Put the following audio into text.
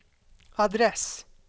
adress